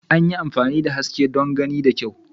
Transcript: An yi amfani da haske don gani da kyau.